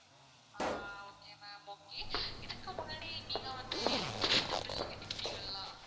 ஆஹ் okay ma'am okay இதுக்கு முன்னாடி நீங்க வந்து electricity bill லு கெட்டிருக்கீங்களா?